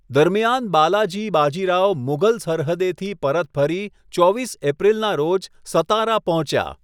દરમિયાન, બાલાજી બાજી રાવ મુઘલ સરહદેથી પરત ફરી, ચોવીસ એપ્રિલના રોજ સતારા પહોંચ્યા.